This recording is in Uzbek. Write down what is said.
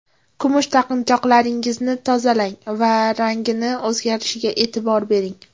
Kumush taqinchoqlaringizni tozalang va rangining o‘zgarishiga e’tibor bering.